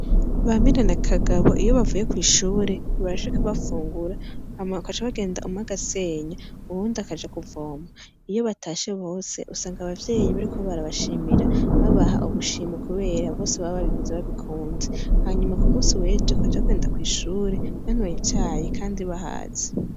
Bamire na kagabo iyo bavuye kwishure bashika bafungura hama bagaca bagenda umwe agasenya uwundi akajakuvoma iyobatashe bose usanga abavyeyi bariko barabashimira babaha ubushimwe kubera bose babababikoze babikunze hanyuma kumunsi wejo bacabagenda kwishure banyoye icayi kandi bahaze